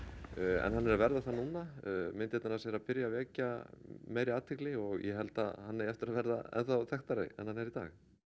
en hann er að verða það núna myndirnar hans eru að byrja að vekja meiri athygli og ég held að hann eigi eftir að verða ennþá þekktari en hann er í dag